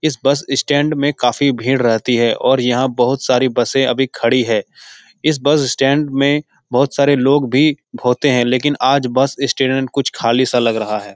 इस bus stand में काफी भीड़ रहती है और यहाँ बहुत सारी बसे अभी खड़ी हैं इस बस स्टैंड में बहुत सारे लोग भी होते है लेकिन आज बस स्टैंड कुछ खाली सा लग रहा है ।